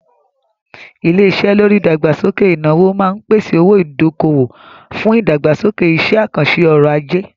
Ilé-iṣé lórí ìdàgbàsókè ìnáwó máa ń pèsè owó-ìdákòwò fún ìdàgbàsókè iṣẹ́-àkànṣe ọrọ̀-ajé.